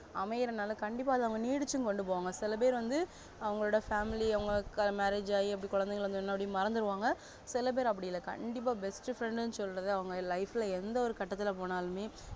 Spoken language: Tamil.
அமைரனால கண்டிப்பா அத அவங்க நீடிச்சும் கொண்டுபோவாங்க சிலபேரு வந்து அவங்க family அவங்களுக்கு marriage ஆகி அப்டே குழந்தைங்க வந்ததும் மறந்துடுவாங்க சில பேரு அப்டி இல்ல கண்டிப்பா best friend னு சொல்றதே அவங்க life எந்த ஒரு கட்டத்துல போனாலுமே